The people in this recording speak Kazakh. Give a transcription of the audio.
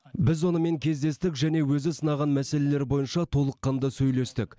біз онымен кездестік және өзі сынаған мәселелер бойынша толыққанды сөйлестік